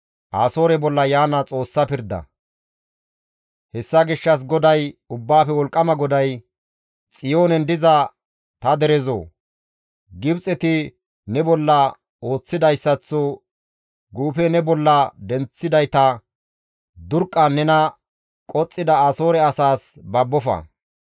Hessa gishshas GODAY, Ubbaafe Wolqqama GODAY, «Xiyoonen diza ta derezoo! Gibxeti ne bolla ooththidayssaththo guufe ne bolla denththidayta durqqan nena qoxxida Asoore asaas babbofa.